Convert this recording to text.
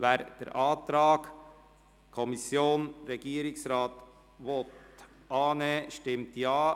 Wer den Antrag von Regierungsrat/FiKo annehmen will, stimmt Ja,